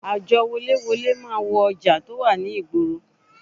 Àjọ woléwolé wá wo ọjà tí ó wà ní ìgboro